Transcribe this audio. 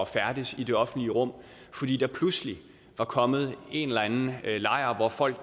færdes i det offentlige rum fordi der pludselig var kommet en eller anden lejr hvor folk